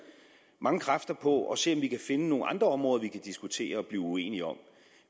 mange kræfter på at se om vi kan finde nogle andre områder vi kan diskutere og blive uenige om